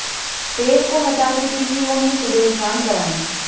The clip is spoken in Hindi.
तेल को हटाने के लिए उन्हें सुबह स्नान करायें